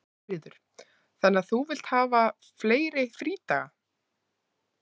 Sigríður: Þannig að þú vilt hafa fleiri frídaga?